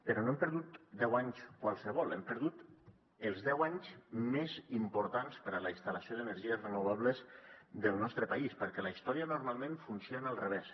però no hem perdut deu anys qualssevol hem perdut els deu anys més importants per a la instal·lació d’energies renovables del nostre país perquè la història normalment funciona al revés